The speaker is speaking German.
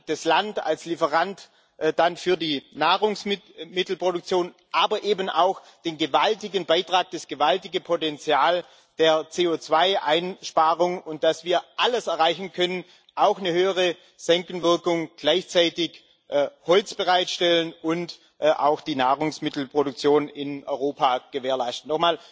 das Land als Lieferant für die Nahrungsmittelmittelproduktion, aber eben auch der gewaltige Beitrag, das gewaltige Potenzial der CO2 Einsparung, und dass wir alles erreichen können auch eine höhere Senkenwirkung, gleichzeitig Holz bereitstellen und auch die Nahrungsmittelproduktion in Europa gewährleisten.